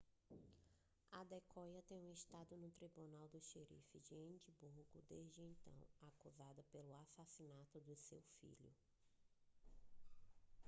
adekoya tem estado no tribunal do xerife de edimburgo desde então acusada pelo assassinato de seu filho